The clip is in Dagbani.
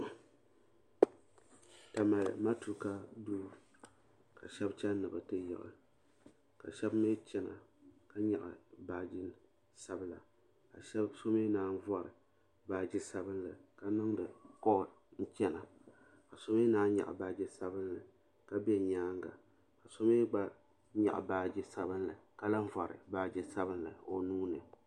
Tamale matuuka duu kashabi chani ni biti yiɣi, kashabi chana ka nyɛɣi baaji nima, zaɣisabila, kasomi naan bori baaji sabinli ka niŋdi call. n chana, ka so mi naan nyɛɣi baaji sabinli ka be nyaaŋa.ka so mi gba nyɛɣi baaji sabinli ka vori baaji sabinli